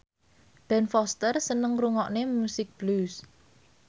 Ben Foster seneng ngrungokne musik blues